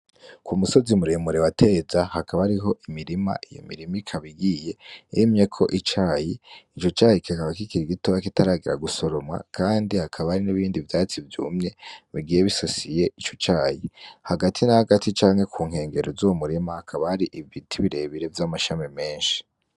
Ku musozi muremure wateza hakaba ariho imirima iyo mirima ikabigiye emye ko icayi ico cahi ikakaba kikiri gitora kitaragira gusoromwa, kandi hakaba ari n'ibindi vyatsi vyumye migiye bisosiye ico cayi hagati n'ahagati canke ku nkengero z'uwo murema hakabari ibi bitibirebire vy'amashami menshi.